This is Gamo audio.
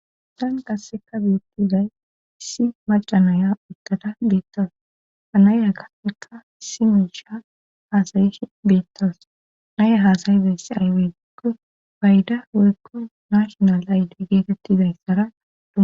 Tan qasseka biittiday issi maca naya uttada beettowos ta naya gafeka si miisha haasayi beettows naya haasayi beysse ayweikko bayda woykko nashonal aydi geetettidayssara